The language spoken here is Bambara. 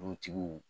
Dugutigiw